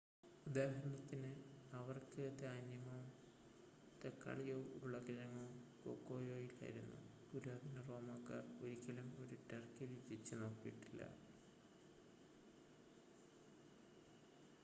ഉദാഹരണത്തിന് അവർക്ക് ധാന്യമോ തക്കാളിയോ ഉരുളക്കിഴങ്ങോ കൊക്കോയോ ഇല്ലായിരുന്നു പുരാതന റോമക്കാർ ഒരിക്കലും ഒരു ടർക്കി രുചിച്ചു നോക്കിയിച്ചിട്ടില്ല